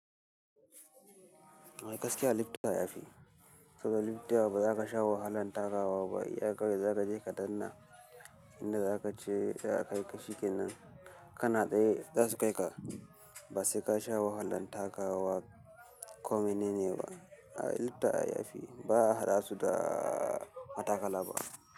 A gaskiya lifta ya fi. Saboda lifta ba za ka sha wahalan takawa ba. Iya kawai zaka je ka danna, in da zaka je sai a kai ka shikenan. Kana tsaye za su kai ka, ba sai ka sha wahalan takawa kome nini ba, ai lifta ya fi. Ba haɗa su da matakala ba.